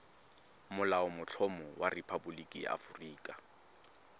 molaotlhomo wa rephaboliki ya aforika